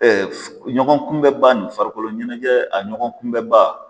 ɲɔgɔn kunbɛn ba nin farikolo ɲɛnajɛ a ɲɔgɔn kunbɛn ba.